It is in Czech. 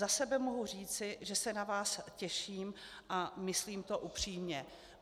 Za sebe mohu říci, že se na vás těším, a myslím to upřímně.